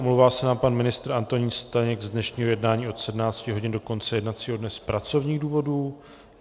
Omlouvá se nám pan ministr Antonín Staněk z dnešního jednání od 17 hodin do konce jednacího dne z pracovních důvodů.